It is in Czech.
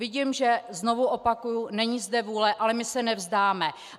Vidím, že - znovu opakuji - není zde vůle, ale my se nevzdáme.